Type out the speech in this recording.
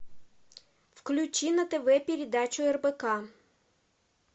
включи на тв передачу рбк